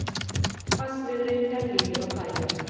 Hvassviðri er líður á daginn